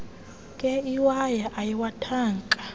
nkee iwaya iwathaka